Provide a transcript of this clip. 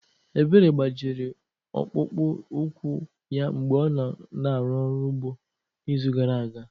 Ebere gbajiri ọkpụkpụ úkwù ya mgbe ọ na-arụ ọrụ ugbo n'izu gara aga.